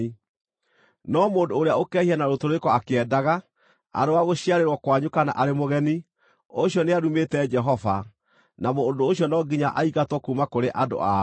“ ‘No mũndũ ũrĩa ũkehia na rũtũrĩko akĩendaga, arĩ wa gũciarĩrwo kwanyu kana arĩ mũgeni, ũcio nĩarumĩte Jehova, na mũndũ ũcio no nginya aingatwo kuuma kũrĩ andũ ao.